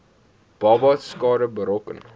babas skade berokken